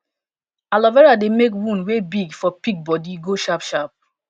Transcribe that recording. alo vera dey make wound wey big for pig bodi go sharp sharp